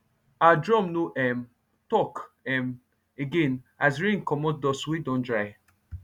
our drum no um talk um again as rain comot dust wey don dry